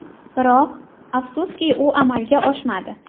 Biroq, afsuski u amalga oshmadi.